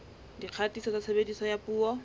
dikgatiso tsa tshebediso ya dipuo